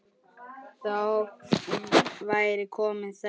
Þá væri komin þrenna.